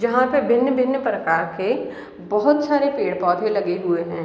जहां पे भिन्न-भिन्न प्रकार के बहोत सारे पेड़-पौधे लगे हुए हैं।